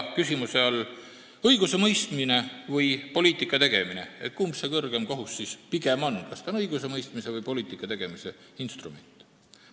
Küsimuse all on õigusemõistmine ja poliitika tegemine: kumb see kõrgeim kohus pigem ikkagi on, kas õigusemõistmise või poliitika tegemise instrument?